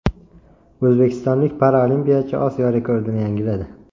O‘zbekistonlik paralimpiyachi Osiyo rekordini yangiladi.